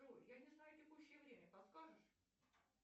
джой я не знаю текущее время подскажешь